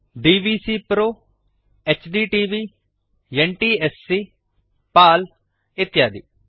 DVCPRO HDTV NTSC PAL ಇತ್ಯಾದಿ